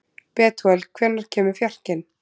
Betúel, hvenær kemur fjarkinn?